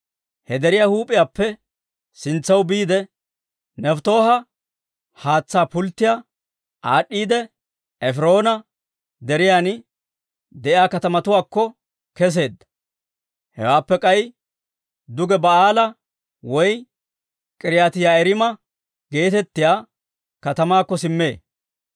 He deriyaa huup'iyaappe sintsaw biide, Nefttooha haatsaa pulttiyaa aad'd'iidde, Efiroona Deriyan de'iyaa katamatuwaakko kesseedda. Hewaappe k'ay duge Baa'aalaa woy K'iriyaati-Yi'aariima geetettiyaa katamaakko simmee;